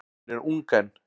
Hún er ung enn.